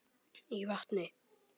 í vatni.